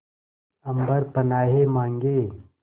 अम्बर पनाहे मांगे